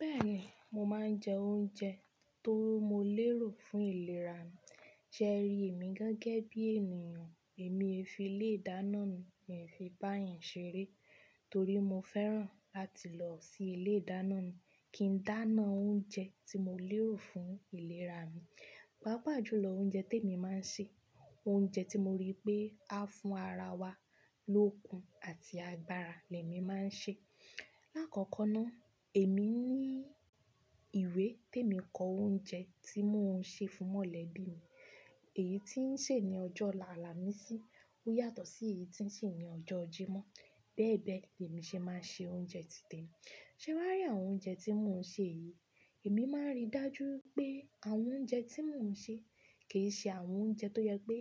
Bẹ́ẹ̀ni, mo máa ń jẹ oúnjẹ tó mó lérò fún ìlera mi. Ṣé ẹ rí èmi gẹ́gẹ́ bí ènìyàn, èmi e fi ilé-ìdáná mi, mi fi bá'yàn ṣeré torí mo fẹ́ràn láti lọ sí ilé-ìdáná mi kí n dáná oúnjẹ tí mo lérò fún ìlera mi. Paapajúlọ́ oúnjẹ tí èmi máa ń ṣe, oúnjẹ tí mo rí pé á fún ara wa lókun àti agbára lẹ mi maa n ṣe. Lákọ̀kọ́ná, èmi ní ìwé tí èmi kọ oúnjẹ tí mò ń ṣe fún mọ̀lẹ́bí mi. Èyí tí ń ṣe ní ọjọ́ álàmisí, ó yàtọ̀ sí èyí tí ń ṣe ní ọjọ́ ojímọ́. Bẹ́ẹ̀ bẹ́ẹ̀, lèmi ṣe máa ń ṣe oúnjẹ ti tèmi. Ṣé wá rí àwọn oúnjẹ tí mò ń ṣe yìí, èmi máa ń rí dájú pé àwọn oúnjẹ tí mò ń ṣe kì í ṣe àwọn oúnjẹ tó jẹ pé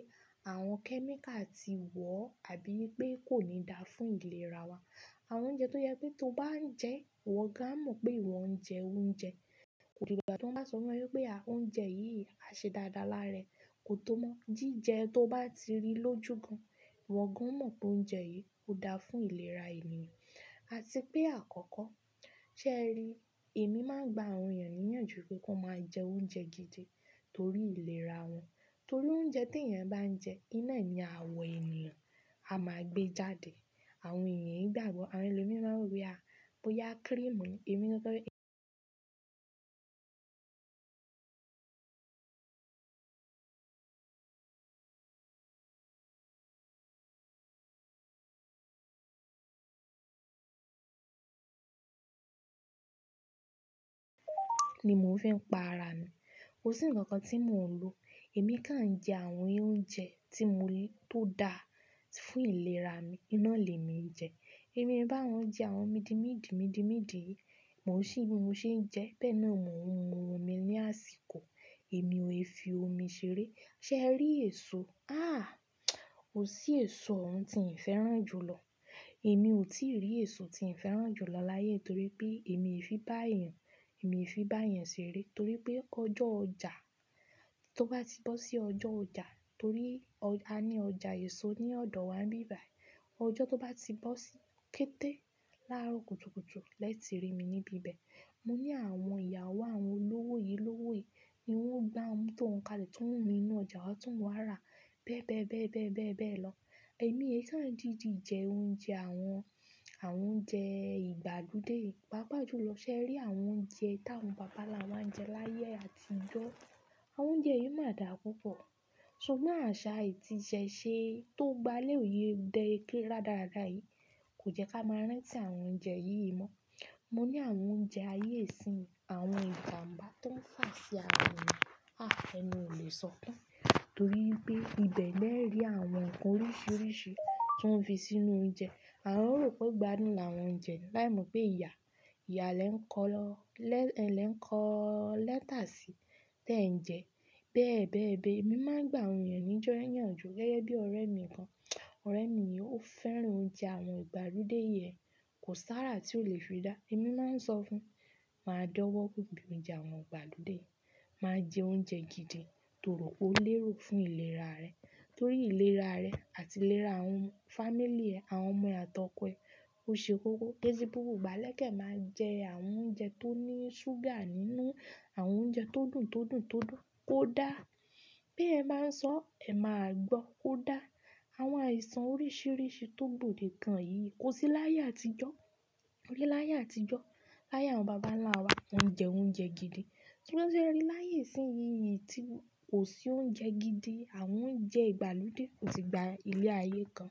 àwọn chemical ti wọ̀ àbí ipé kò ní dáa fún ìlera wa. Àwọn oúnjẹ tó jẹ pé tó bá ń jẹ, ìwọ gan a mọ̀ pé ìwọ ń jẹ oúnjẹ. Kòdigbà tí wọ́n bá sọ fún ọ wípé a, oúnjẹ yìí á ṣe dáadáa lára rẹ, kò tó mọ́. Jíjẹ tó bá ti rí lójú gan, ìwọ gan o mọ̀ pé oúnjẹ yìí ó dáa fún ìlera ènìyàn. Àti pé àkọ́kọ́, ṣé ẹ ri, èmi máa ń gba àwọn ènìyàn níyànjú pé kí wọ́n máa jẹ oúnjẹ gidi torí ìlera wọn. Torí oúnjẹ t'ẹ̀yan bá ń jẹ, iná ni àwọ ènìyàn a máa gbé jáde. Àwọn ènìyàn í gbàgbọ́. Àwọn ẹlòmí maa n wó boya, "à, boyá creamu ni," èmi ni pé ni mò ń fi pa ara mi. Kò sí nǹkan kan tí mò ń lo. Èmi ká ń jẹ àwọn oúnjẹ tí mo ní tó dáa fún ìlera mi, iná lèmi ń jẹ. Èmi e bá woń jẹ àwọn mídi mídi, mídi mídi yìí, mò ń ṣì bí mo ṣe ń jẹ. Bẹ́ẹ̀ náà mò ń hun mu omi ní àsìkò, èmi e fi omi ṣeré. Ṣé ẹ rí èso? À, kọ́, ò sí èso òun tí n fẹ́ràn jùlọ. Èmi ò tí rí èso tí n fẹ́ràn jùlọ láyé torí pé èmi e fi bá'yàn, èmi fi bá'yàn ṣeré torí pé ọjọ́ ọjà, tó bá ti bọ́ sí ọjọ́ ọjà torí a ní ọjà èso ní ọ̀dọ̀ wa bíbàí. Ọjọ́ tó bá ti bọ́ sí, kété láròkùtùkùtù, lẹ́ti rí mi níbi ibẹ̀. Mo ní àwọn ìyàwó àwọn olówó yi, olówó yi, ni wọ́n gbáwọn mọtó woń kalẹ̀ ti won mú inú ọjà wá ti won mo wá rà. Bẹ́ẹ̀ bẹ́ẹ̀, bẹ́ẹ̀ bẹ́ẹ̀, bẹ́ẹ̀ bẹ́ẹ̀ lọ. Èmi é kán didí jẹ oúnjẹ àwọn, àwọn oúnjẹ ìgbàlódé. Paapajúlọ́ ṣé ẹ rí àwọn oúnjẹ táwọn bàbá ńlá wa ń jẹ láyé àtijọ́. Àwọn oúnjẹ yìí máa dà púpọ̀. Sugbon àṣà ti ìṣẹ̀ṣe tó gba lé òye dẹ́ rádaráda yìí, kò jẹ́ ká máa rán tí àwọn oúnjẹ yìí mọ́. Mo ní àwọn oúnjẹ ayé ìsín, àwọn ìjàǹbá tó ń fà sí ara ènìyàn. À, ẹnu ò lè sọ tán. Torí pé ibẹ̀ lẹ rí àwọn ǹkan oríṣiríṣi ti wóń fi sínú oúnjẹ. À ń rò pé ó igbádùn láwọn únjẹ láì mọ̀ pé ìyà, ìyà lẹ ń kọ́ lọwo, lẹ lẹ ń kọ́ lẹ́tà si, tẹ ń jẹ. Bẹ́ẹ̀ bẹ́ẹ̀ bẹ́ẹ̀, èmi máa ń gba àwọn ènìyàn níyànjú gẹ́gẹ́ bí ọ̀rẹ́ mi kan. Ọ̀rẹ́ mi yìí ó fẹ́ràn oúnjẹ àwọn ìgbàlódé yẹn kò sára tí ó lè fi dá. Èmi máa ń sọ fún, "máa dọ́wọ́ gùn bí oúnjẹ àwọn ìgbàlódé. Máa jẹ oúnjẹ gidi toró po lérò fún ìlera rẹ. Torí ìlera rẹ àti ìlera àwọn fámíly ẹ, àwọn ọmọ ẹ at'ọkọ e. Ó ṣe kókó. Keẹ́sẹ́ gbogbo igbá lẹ́ekan máa jẹ àwọn oúnjẹ tó ní ṣúgà nínú, àwọn oúnjẹ tó dùn, tó dùn, tó dùn. Kó dáa. Bí ẹ máa ń sọ, ẹ máa gbọ́. Kó dáa. Àwọn àìsàn oríṣiríṣi tó gbòdekan yìí kò sí láyé àtijọ́. Láyé àtijọ́, láyé àwọn bàbá ńlá wa, wọ́n ń jẹ oúnjẹ gidi. Signon ṣé ẹ rí láyé ìsín yìí tí kò sí oúnjẹ gidi, àwọn oúnjẹ ìgbàlódé ò ti gba ilé ayé kan.